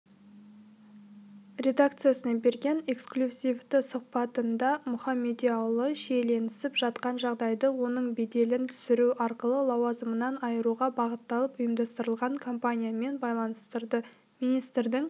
редакциясына берген эксклюзивтісұхбатындамұхамедиұлы шиеленісіп жатқан жағдайды оның беделін түсіру арқылы лауазымынан айыруға бағытталып ұйымдастырылған кампаниямен байланыстырды министрдің